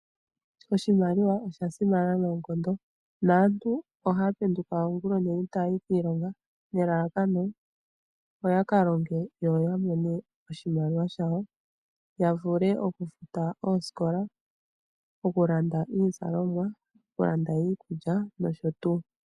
Oshimaliwa osha simana noonkondo. Aantu ohaya penduka oongula oonene taya yi kiilonga nelalakano opo yakalonge, yo ya mone oshimaliwa shawo, ya vule okufuta oosikola, okulanda iizalomwa nosho tuu.